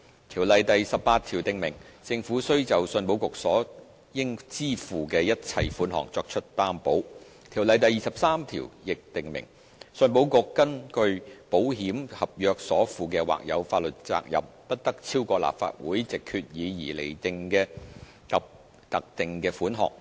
《條例》第18條訂明，政府須就信保局所應支付的一切款項作出擔保。《條例》第23條亦訂明，信保局根據保險合約所負的或有法律責任，不得超過立法會藉決議而釐定的特定款額。